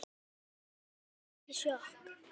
Ég fékk ekki sjokk.